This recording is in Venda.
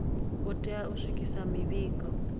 u tea u swikisa mivhigo